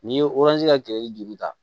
N'i ye ka kɛlɛ ni juru ta